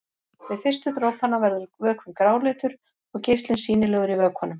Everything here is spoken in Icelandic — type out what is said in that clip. Við fyrstu dropana verður vökvinn gráleitur og geislinn sýnilegur í vökvanum.